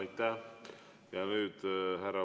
Aitäh!